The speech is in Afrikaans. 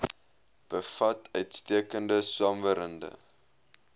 bevat uitstekende swamwerende